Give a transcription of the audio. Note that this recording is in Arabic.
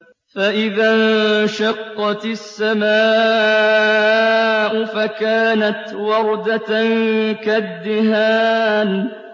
فَإِذَا انشَقَّتِ السَّمَاءُ فَكَانَتْ وَرْدَةً كَالدِّهَانِ